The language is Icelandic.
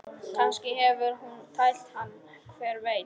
Kannski hefur hún tælt hann, hver veit?